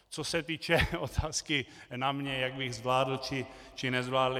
Co se týče otázky na mě , jak bych zvládl či nezvládl.